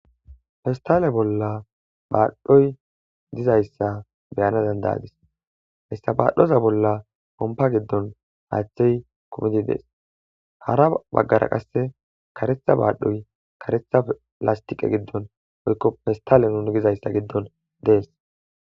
festale bolla baadhdhoy dizayssa beyana dandayadis hessabaadhoza bolla pompa giddon haaththey komidi dees hara baggara qasse karetha baadhoy karetha lastiqe giddon oykko festale nuni dizayssa giddon dees